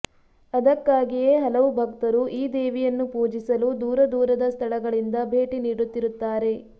ಅದಕ್ಕಾಗಿಯೇ ಹಲವು ಭಕ್ತರು ಈ ದೇವಿಯನ್ನು ಪೂಜಿಸಲು ದೂರದೂರದ ಸ್ಥಳಗಳಿಂದ ಭೇಟಿ ನೀಡುತ್ತಿರುತ್ತಾರೆ